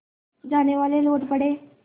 जानेवाले लौट पड़े